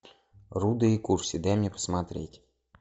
рудо и курси дай мне посмотреть